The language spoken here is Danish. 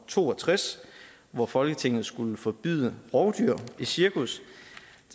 to og tres hvor folketinget skulle forbyde rovdyr i cirkus